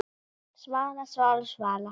Svala, Svala, Svala!